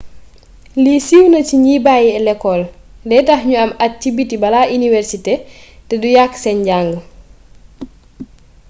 lii siw na ci gni bayi lecol dey tax niu am at ci biti bala iniwersité té du yaaq sen njang